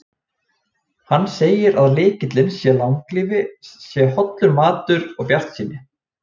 Hann segir að lykillinn að langlífi sé hollur matur og bjartsýni.